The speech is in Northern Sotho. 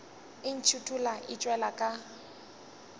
e ntšhithola e tšwela ka